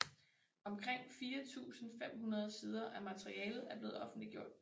Omkring 4500 sider af materialet er blevet offentliggjort